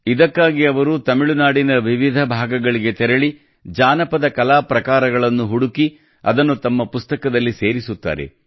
ಇದಕ್ಕಾಗಿ ಅವರು ತಮಿಳುನಾಡಿನ ವಿವಿಧ ಭಾಗಗಳಿಗೆ ತೆರಳಿ ಜಾನಪದ ಕಲಾ ಪ್ರಕಾರಗಳನ್ನು ಹುಡುಕಿ ಅದನ್ನು ತಮ್ಮ ಪುಸ್ತಕದಲ್ಲಿ ಸೇರಿಸುತ್ತಾರೆ